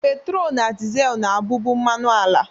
Petrol na diesel na-abụbu mmanụ ala